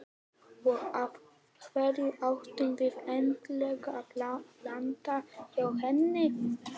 Og af hverju ættum við endilega að lenda hjá henni?